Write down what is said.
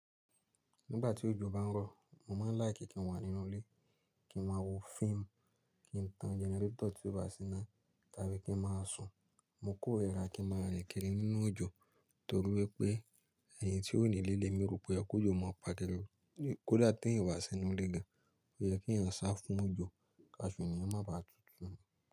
Nígbà tí òjò bá ń rọ̀, mo máa ń láìkì kí n wà nínú ilé, kí n máa wo fíìmù, kí n tan generator tí ó bá síná, tàbí kí n máa sùn. Mo kórira kí n máa rìn kiri nínú òjò torí wípé ẹni tí ó ní íle lemì ro pé oye kọjọ́ máa paà kó da ti èeyan o ba si n nú ilé gan, ó yẹ kí ẹ̀eyàn sá fún òjò káṣo eníyan o má baà tútù.